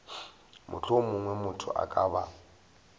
mohlomongwe motho a ka ba